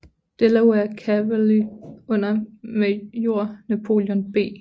Delaware Cavalry under major Napoleon B